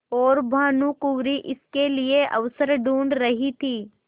और भानुकुँवरि इसके लिए अवसर ढूँढ़ रही थी